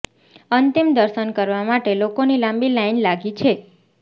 અંતિમ દર્શન કરવા માટે લોકોની લાંબી લાઇન લાગી છે